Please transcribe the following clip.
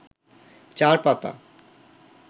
চার পাতা